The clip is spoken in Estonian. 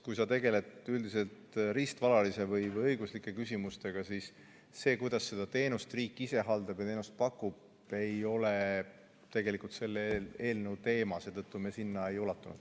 Kui sa tegeled üldiselt riistvaraliste või õiguslike küsimustega, siis see, kuidas riik seda teenust haldab ja pakub, ei ole tegelikult selle eelnõu teema, seetõttu me seda ei arutanud.